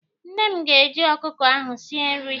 Nne m ga- eji ọkụkọ ahụ sie nri.